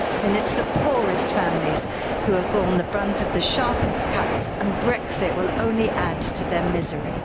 It's the poorest families who have borne the brunt of the sharpest cuts and Brexit will only add to their misery.